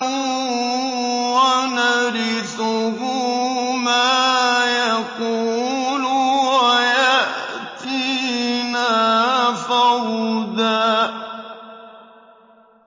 وَنَرِثُهُ مَا يَقُولُ وَيَأْتِينَا فَرْدًا